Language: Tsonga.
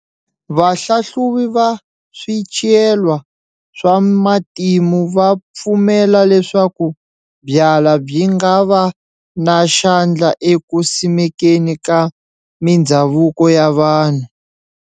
Va hlahluvi va Swityelwa swa matimu va pfumela leswaku byala byi ngava na xandla eku simekeni ka mindzhavuko ya vanhu.